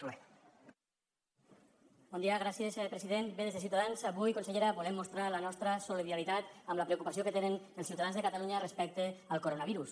bé des de ciutadans avui consellera volem mostrar la nostra solidaritat amb la preocupació que tenen els ciutadans de catalunya respecte al coronavirus